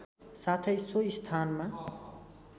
साथै सो स्थानमा